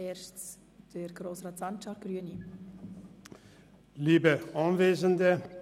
Zuerst hat Grossrat Sancar das Wort.